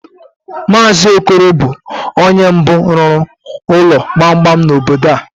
Mazi Okoro bụ ónyé mbụ rụrụ ụlọ gbamgbam n'obodo a.